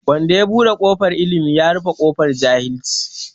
Wanda ya buɗe kofar Ilimi, ya rufe ƙofar jahilci.